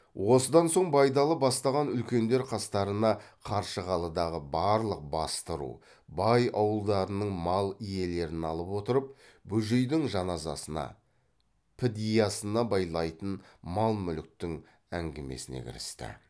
осыдан соң байдалы бастаған үлкендер қастарына қаршығалыдағы барлық басты ру бай ауылдарының мал иелерін алып отырып бөжейдің жаназасына підиясына байлайтын мал мүліктің әңгімесіне кірісті